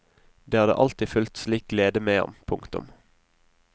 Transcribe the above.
Det hadde alltid fulgt slik glede med ham. punktum